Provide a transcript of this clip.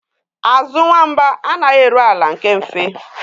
Azụ nwamba anaghị eru ala nke mfe